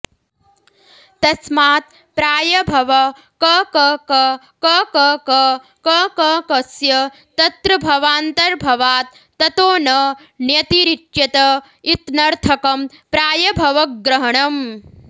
तस्मात् प्रायभव कककककककककस्य तत्रभवान्तर्भवात् ततो न ण्यतिरिच्यत इत्नर्थकं प्रयभवग्रहणम्